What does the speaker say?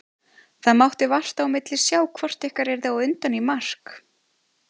Það mátti vart á milli sjá hvort ykkar yrði á undan í mark.